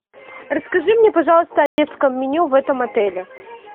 расскажи мне пожалуйста о детском меню в этом отеле